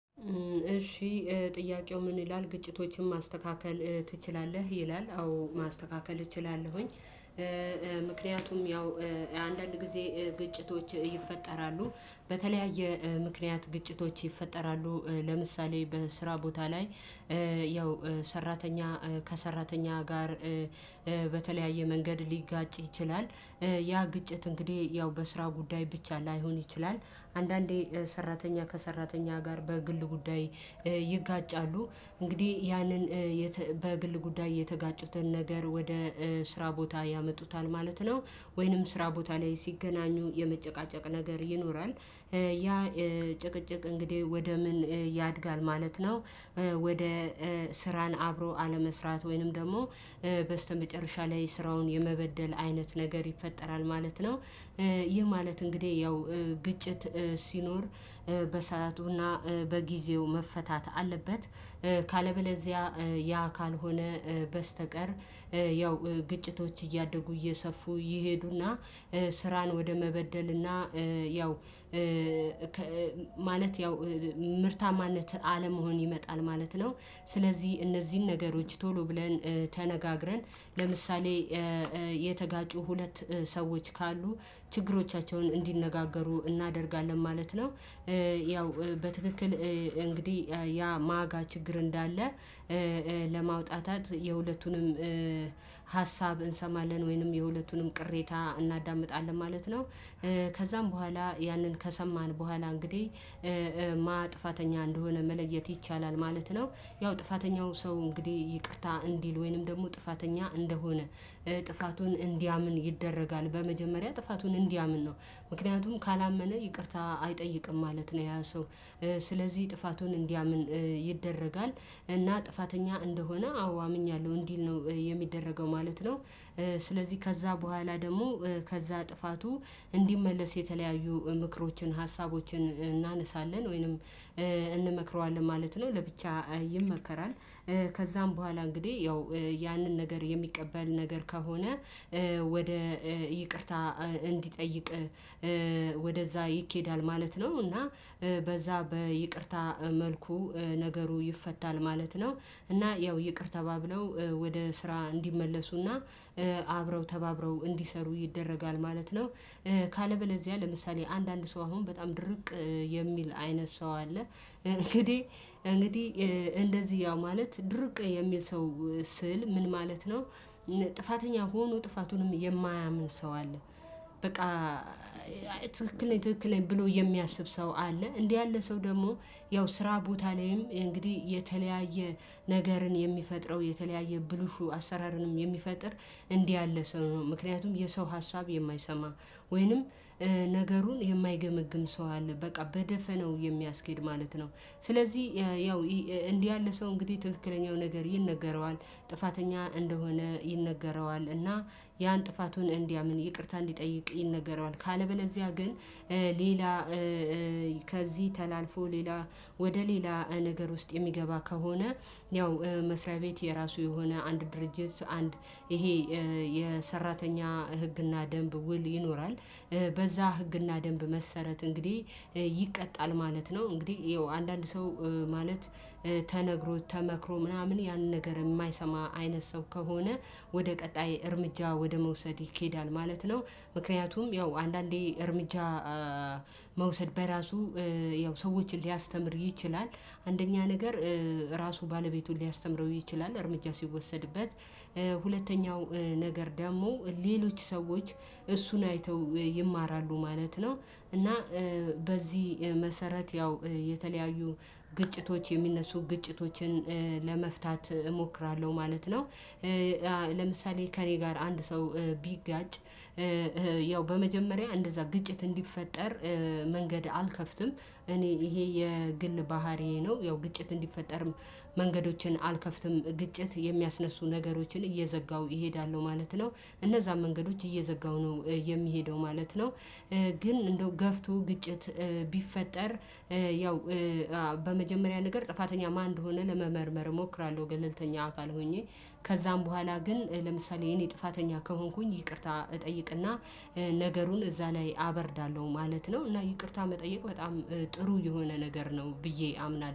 እሺ ጥያቄው ምን ይላል? ግጭቶችን ማስተካከል ትችላለህ ይላል። አዎ ማስተካከል እችላለሁኝ። ምክንያቱም ያው አንዳንድ ጊዜ ግጭቶች ይፈጠራሉ። በተለያየ ምክንያት ግጭቶች ይፈጠራሉ። ለምሳሌ በስራ ቦታ ላይ ያው ሰራተኛ ከሰራተኛ ጋር በተለያየ መንገድ ሊጋጭ ይችላል። ያ ግጭት እንግዲህ ያው በስራ ጉዳይ ብቻ ላይሆን ይችላል። አንዳንዴ ሰራተኛ ከሰራተኛ ጋር በግል ጉዳይ ይጋጫሉ። እንግዲህ ያንን በግል ጉዳይ የተጋጩትን ነገር ወደ ስራ ቦታ ያመጡታል ማለት ነው። ወይንም ስራ ቦታ ላይ ሲገናኙ የመጨቃጨቅ ነገር ይኖራል። ያ ጭቅጭቅ እንግዲህ ወደ ምን ያድጋል ማለት ነው? ወደ ስራን አብሮ አለመስራት ወይንም ደግሞ በስተመጨረሻ ላይ ስራውን የመበደል አይነት ነገር ይፈጠራል ማለት ነው። ይህ ማለት እንግዲህ ያው ግጭት ሲኖር በሰአቱና በጊዜው መፈታት አለበት። ካለበለዚያ ያ ካልሆነ በስተቀር ያው ግጭቶች እያደጉ እየሰፉ ይሄዱና ስራን ወደ መበደልና ያው ያው ምርታማነት አለመሆን ይመጣል ማለት ነው። ስለዚህ እነዚህን ነገሮች ቶሎ ብለን ተነጋግረን ለምሳሌ የተጋጩ ሁለት ሰዎች ካሉ ችግሮቻቸውን እንዲነጋገሩ እናደርጋለን ማለት ነው። ያው በትክክል እንግዲህ ያ ማጋ ችግር እንዳለ ለማውጣጣት የሁለቱንም ሀሳብ እንሰማለን ወይንም የሁለቱንም ቅሬታ እናዳምጣለን ማለት ነው። ከዛም በኋላ ያንን ከሰማን በኋላ እንግዲህ ማን ጥፋተኛ እንደሆነ መለየት ይቻላል ማለት ነው። ያው ጥፋተኛው ሰው እንግዲህ ይቅርታ እንዲል ወይንም ደግሞ ጥፋተኛ እንደሆነ ጥፋቱን እንዲያምን ይደረጋል። በመጀመሪያ ጥፋቱን እንዲያምን ነው። ምክንያቱም ካላመነ ይቅርታ አይጠይቅም ማለት ነው ያ ሰው። ስለዚህ ጥፋቱን እንዲያምን ይደረጋል። እና ጥፋተኛ እንደሆነ አዎ አምኛለሁ እንዲል ነው የሚደረገው ማለት ነው። ስለዚህ ከዛ በኋላ ደግሞ ከዛ ጥፋቱ እንዲመለስ የተለያዩ ምክሮችን ሀሳቦችን እናነሳለን ወይንም እንመክረዋለን ማለት ነው። ለብቻ ይመከራል። ከዛም በኋላ እንግዲህ ያው ያንን ነገር የሚቀበል ነገር ከሆነ ወደ ይቅርታ እንዲጠይቅ ወደዛ ይኬዳል ማለት ነው። እና በዛ በይቅርታ መልኩ ነገሩ ይፈታል ማለት ነው። እና ያው ይቅር ተባብለው ወደ ስራ እንዲመለሱና አብረው ተባብረው እንዲሰሩ ይደረጋል ማለት ነው። ካለበለዚያ ለምሳሌ አንዳንድ ሰው አሁን በጣም ድርቅ የሚል አይነት ሰው አለ። እንግዲህ እንግዲህ እንደዚህ ያው ማለት ድርቅ የሚል ሰው ስል ምን ማለት ነው? ጥፋተኛ ሆኖ ጥፋቱን የማያምን ሰው አለ። በቃ ትክክል ነኝ ብሎ የሚያስብ ሰው አለ። እንዲህ ያለ ሰው ደግሞ ያው ስራ ቦታ ላይም እንግዲህ የተለያየ ነገርን የሚፈጥረው የተለያየ ብልሹ አሰራርንም የሚፈጥር እንዲህ ያለ ሰው ነው። ምክንያቱም የሰው ሀሳብ የማይሰማ ወይንም ነገሩን የማይገመግም ሰው አለ በቃ። በደፈነው የሚያስኬድ ማለት ነው። ስለዚህ ያው እንዲህ ያለ ሰው እንግዲህ ትክክለኛው ነገር ይነገረዋል። ጥፋተኛ እንደሆነ ይነገረዋል። እና ያን ጥፋቱን እንዲያምን ይቅርታ እንዲጠይቅ ይነገረዋል። ካለበለዚያ ግን ሌላ ከዚህ ተላልፎ ሌላ ወደ ሌላ ነገር ውስጥ የሚገባ ከሆነ ያው መስሪያ ቤት የራሱ የሆነ አንድ ድርጅት አንድ ይሄ የሰራተኛ ህግና ደንብ ውል ይኖራል። በዛ ህግና ደንብ መሰረት እንግዲህ ይቀጣል ማለት ነው። እንግዲህ ይኸው አንዳንድ ሰው ማለት ተነግሮ ተመክሮ ምናምን ያንን ነገር የማይሰማ አይነት ሰው ከሆነ ወደ ቀጣይ እርምጃ ወደ መውሰድ ይኬዳል ማለት ነው። ምክንያቱም ያው አንዳንዴ እርምጃ መውሰድ በራሱ ያው ሰዎችን ሊያስተምር ይችላል። አንደኛ ነገር ራሱ ባለቤቱን ሊያስተምረው ይችላል እርምጃ ሲወሰድበት። ሁለተኛው ነገር ደግሞ ሌሎች ሰዎች እሱን አይተው ይማራሉ ማለት ነው። እና በዚህ መሰረት ያው የተለያዩ ግጭቶች የሚነሱ ግጭቶችን ለመፍታት እሞክራለሁ ማለት ነው። ለምሳሌ ከእኔ ጋር አንድ ሰው ቢጋጭ ያው በመጀመሪያ እንደዛ ግጭት እንዲፈጠር መንገድ አልከፍትም። እኔ ይሄ የግል ባህሪዬ ነው። ያው ግጭት እንዲፈጠርም መንገዶችን አልከፍትም። ግጭት የሚያስነሱ ነገሮችን እየዘጋው እሄዳለሁ ማለት ነው። እነዛን መንገዶች እየዘጋው ነው የሚሄደው ማለት ነው። ግን እንደው ገፍቶ ግጭት ቢፈጠር ያው በመጀመሪያ ነገር ጥፋተኛ ማን ሆነን ለመመርመር እሞክራለሁ ገለልተኛ አካል ሆኜ። ከዛም በኋላ ግን ለምሳሌ የኔ ጥፋተኛ ከሆንኩኝ ይቅርታ እጠይቅና ነገሩን እዛ ላይ አበርዳለሁ ማለት ነው። እና ይቅርታ መጠየቅ በጣም ጥሩ የሆነ ነገር ነው ብዬ አምናለሁ።